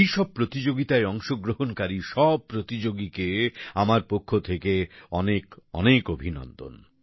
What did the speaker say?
এই সব প্রতিযোগিতায় অংশগ্রহণকারী সব প্রতিযোগীকে আমার পক্ষ থেকে অনেক অনেক অভিনন্দন